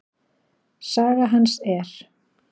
Saga hans er